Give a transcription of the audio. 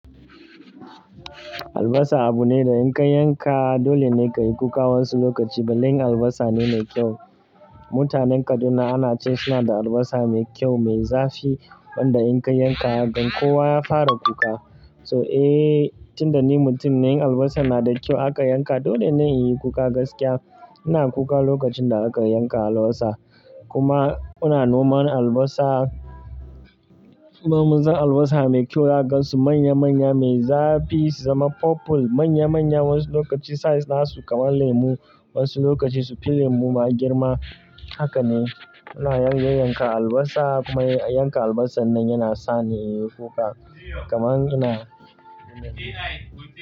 Albasa abu ne da in ka yanka dole ne ka yi kuka wasu lokacin belle in albasane e mai kyau. Mutanen Kaduna ana cewa suna da albasa mai kyau, mai zafi, wanda in ka yanka, dan kowa ya fara kuka. So, eh, tinda ni mutum ne in albasa na da kyau aka yanka dole ne in yi kuka gaskiya. Ina kuka lokacin da aka yanka albasa. Kuma ana noma albasa, babu zan albasa mai kyau za kagaansu manya-manya mai zafi, su zama purple manya-manya wasu lokaci size nasu kamar lemu, wasu lokaci su fi lemu ma girma. Haka ne, ana yan yanka albasa kuma yanka albasa nan yana sa ni in yi kuka. Kaman ina.